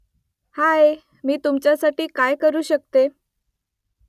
हाय ! मी तुमच्यासाठी काय करू शकते ?